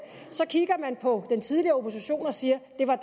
kigger på den tidligere opposition og siger at det var